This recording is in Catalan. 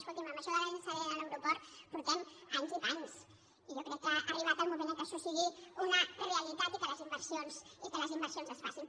escolti’m amb això del tema de la llançadora de l’aeroport portem anys i panys i jo crec que ha arribat el moment en què això sigui una realitat i que les inversions es facin